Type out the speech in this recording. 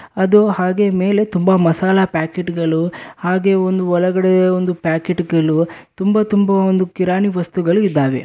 ಅದು ಹಾಗೆ ಮೇಲೆ ತುಂಬಾ ಮಸಾಲಾ ಪ್ಯಾಕೆಟ್ಗಳು ಹಾಗೆ ಒಂದು ಒಳಗಡೆ ಒಂದು ಪ್ಯಾಕೆಟ್ಗಳು ತುಂಬಾ ತುಂಬಾ ಒಂದು ಕಿರಾಣಿ ವಸ್ತುಗಳು ಇದಾವೆ.